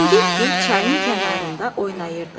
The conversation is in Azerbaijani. Çingizgil çayın kənarında oynayırdılar.